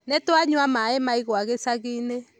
Nĩtwanyua mai ma igwa gĩcagi-inĩ